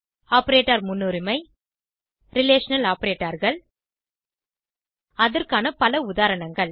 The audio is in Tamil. ஆப்பரேட்டர் முன்னுரிமை ரிலேஷனல் Operatorகள் அதற்கான பல உதாரணங்கள்